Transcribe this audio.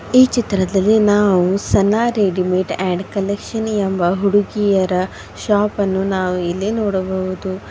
ಈ ಚಿತ್ರದಲ್ಲಿ ನಾವು ಸನಾ ರೆಡಿಮಿಡ್ ಅಂಡ್ ಕನೆಕ್ಷನಿ ಎಂಬ ಹುಡುಗಿಯರ ಶಾಪ್ ಅನ್ನು ನಾವು ಇಲ್ಲಿ ನೋಡಬಹುದು.